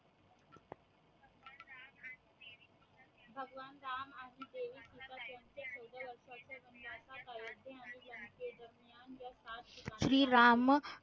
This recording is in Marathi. श्रीराम